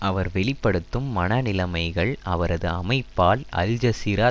அவர் வெளி படுத்தும் மனநிலைமைகள் அவரது அமைப்பால் அல் ஜசீரா